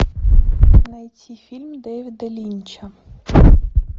найти фильм дэвида линча